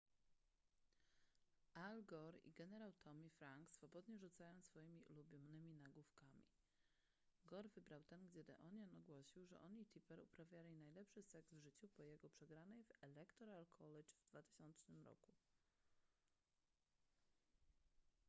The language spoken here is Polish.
al gore i generał tommy franks swobodnie rzucają swoimi ulubionymi nagłówkami gore wybrał ten gdzie the onion ogłosił że on i tipper uprawiali najlepszy seks w życiu po jego przegranej w electoral college w 2000 roku